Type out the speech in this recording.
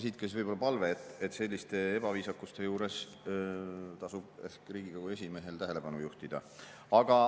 Siit ka palve, et selliste ebaviisakuste juures tasub ehk Riigikogu esimehel sellele tähelepanu juhtida.